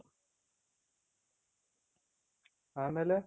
ಆಮೇಲೆ